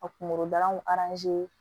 Ka kunkolo dalanw